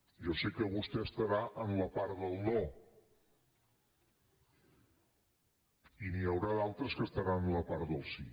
jo sé que vostè estarà en la part del no i n’hi haurà d’altres que estaran en la part del sí